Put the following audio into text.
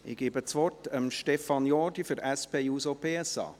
Ich gebe das Wort Stefan Jordi für die SP-JUSO-PSA.